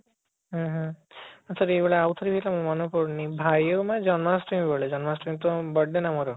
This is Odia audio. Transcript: ହଁ, ହଁ ଆଛା ଏଇ ଭଳିଆ ଆଉ ଥରେ ହେଇଥିଲା ମନେ ପଡୁନି ଭାଇ ଆଉ ମା ଜନ୍ମାଷ୍ଟମୀ ବେଳେ ଜନ୍ମାଷ୍ଟମୀ ତ birthday ନା ମୋର